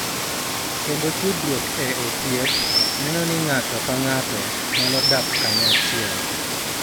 Kendo tudruok e osiep, neno ni ng�ato ka ng�ato nyalo dak kanyachiel